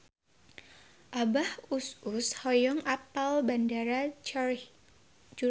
Abah Us Us hoyong apal Bandara Zurich